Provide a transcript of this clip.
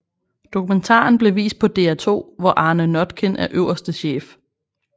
Dokumentaren blev vist på DR2 hvor Arne Notkin er øverste chef